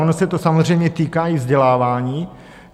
Ono se to samozřejmě týká i vzdělávání.